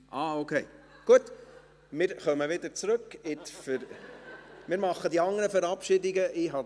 – Okay, gut, wir machen die anderen Verabschiedungen später.